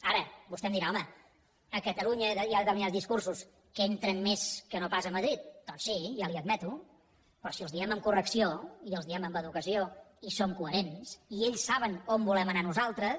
ara vostè em dirà home a catalunya hi ha determinats discursos que entren més que no pas a madrid doncs sí ja li ho admeto però si els diem amb correcció i els diem amb educació i som coherents i ells saben on volem anar nosaltres